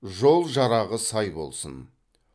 жол жарағы сай болсын